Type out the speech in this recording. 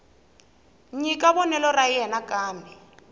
nyika vonelo ra yena kambe